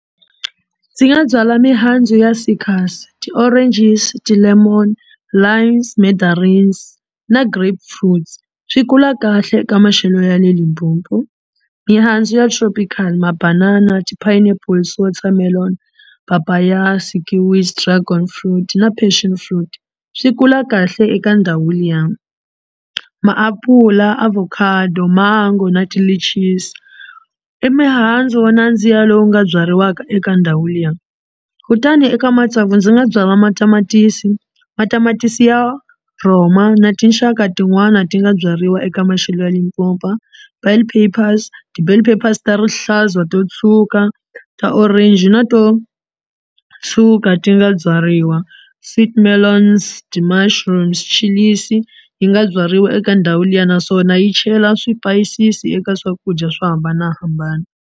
Ndzi nga byala mihandzu ya ti-oranges, ti-lemon, limes, mandarins na grapes fruits swi kula kahle eka maxelo ya le Limpopo. Mihandzu ya tropical mabanana, ti-pineapple, watermelon, papaya, sikiwi, dragon fruit na passion fruit swi kula kahle eka ndhawu liya. Maapula, avocado, mango na ti-litches i mihandzu wo nandziha lowu nga byariwaka eka ndhawu liya kutani eka matsavu ndzi nga byala matamatisi matamatisi ya rhoma na tinxaka tin'wani ti nga byariwa eka maxelo ya Limpopo a ta rihlaza to tshuka ta orange na to tshuka ti nga byariwa sweet melons, ti-mushrooms chillies yi nga byariwa eka ndhawu liya naswona yi chela swipayisisi eka swakudya swo hambanahambana.